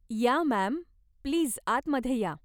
या ma'am, please आतमध्ये या.